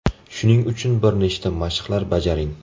Shuning uchun bir nechta mashqlar bajaring.